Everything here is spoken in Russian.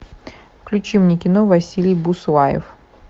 включи мне кино василий буслаев